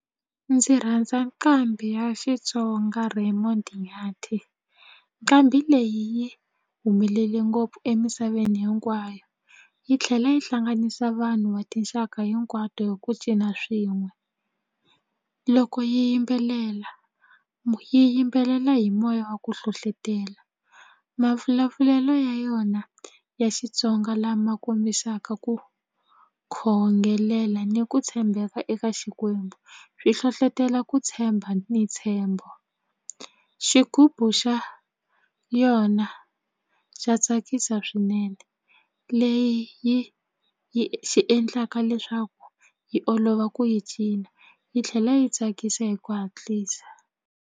Ndzi rhandza nkambi ya Xitsonga Raymond Nyathi nqambi leyi yi humelele ngopfu emisaveni hinkwayo yi tlhela yi hlanganisa vanhu va tinxaka hinkwato hi ku cina swin'we loko yi yimbelela yi yimbelela hi moya wa ku hlohlotela mavulavulelo ya yona ya Xitsonga lama kombisaka ku khongelela ni ku tshembeka eka xikwembu swi hlohlotela ku tshemba ni ntshembo xigubu xa yona xa tsakisa swinene leyi yi yi xi endlaka leswaku yi olova ku yi cina yi tlhela yi tsakisa hi ku hatlisa.